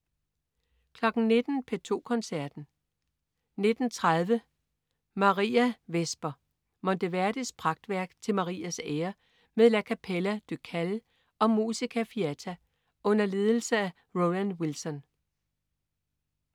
19.00 P2 Koncerten. 19.30 Mariavesper. Monteverdis pragtværk til Marias ære med La Capella Ducale og Musica Fiata under ledelse af Roland Wilson